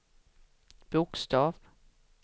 bokstav